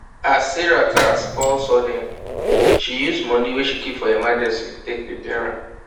as sarah car spoil sudden she use money wey she keep for emergency take repair am